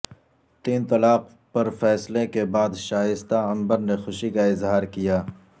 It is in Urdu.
تین طلاق پر فیصلے کے بعد شائستہ عنبر نے خوشی کا اظہار کیا